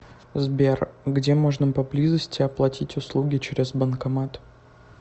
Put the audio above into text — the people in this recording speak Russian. сбер где можно поблизости оплатить услуги через банкомат